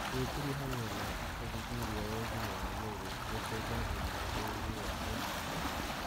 Gwĩkuruhania na ũthuthuria wa ũgima wa mwĩrĩ nĩkuongagĩrĩra ũgĩ wa ũrigitani